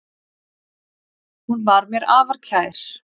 Hún var mér afar kær.